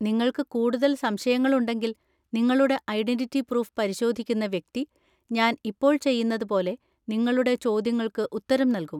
നിങ്ങൾക്ക് കൂടുതൽ സംശയങ്ങളുണ്ടെങ്കിൽ, നിങ്ങളുടെ ഐഡന്‍റിറ്റി പ്രൂഫ് പരിശോധിക്കുന്ന വ്യക്തി, ഞാൻ ഇപ്പോൾ ചെയ്യുന്നത് പോലെ, നിങ്ങളുടെ ചോദ്യങ്ങൾക്ക് ഉത്തരം നൽകും.